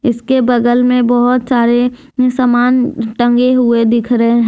इसके बगल में बहुत सारे सामान टंगे हुए दिख रहे हैं।